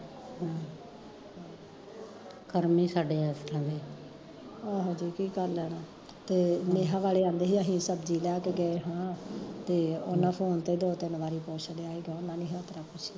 ਕਰਮ ਈ ਸਾਡੇ ਏਸ ਤਰਾਂ ਦੇ ਤੇ ਨੇਹਾ ਵਾਲੇ ਕਹਿੰਦੇ ਸੀ ਅਸੀਂ ਸਬਜ਼ੀ ਲੈ ਕੇ ਗਏ ਸਾ ਤੇ ਓਹਨਾਂ ਫੋਨ ਤੇ ਦੋ ਤਿਨ ਵਾਰੀ ਪੁੱਛਲਿਆਂ ਸੀਗਾ ਹੋਰ ਣੀ ਕਿਸੇ ਤਰਾਂ ਪੁੱਛਿਆ